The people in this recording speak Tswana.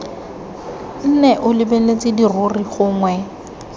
nne o lebeletse dirori gongwe